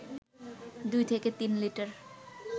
দুই থেকে তিন লিটার